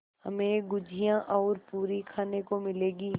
हमें गुझिया और पूरी खाने को मिलेंगी